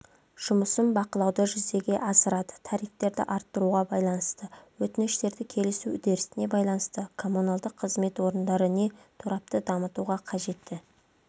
жұмысын бақылауды жүзеге асырады тарифтерді арттыруға байланысты өтініштерді кеәлісу үрдісіне байланысты коммуналдық қызмет орындары не торапты дамытуға қажетті